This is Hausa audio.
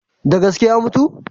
Da gaske ya mutu?